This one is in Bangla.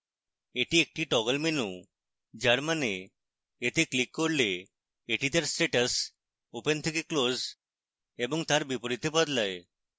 এটি একটি টগল menu যার means এতে clicked করলে এটি তার status open থেকে close এবং তার বিপরীতে বদলায়